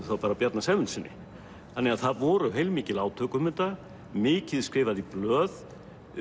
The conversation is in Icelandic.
þá bara Bjarna Sæmundssyni þannig að það voru heilmikil átök um þetta mikið skrifað í blöð